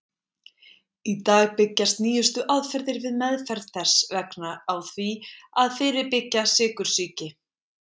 Í dag byggjast nýjustu aðferðir við meðferð þess vegna á því að fyrirbyggja sykursýki.